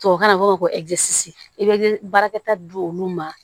Tubabukan na u b'a fɔ ko i bɛ baarakɛta di olu ma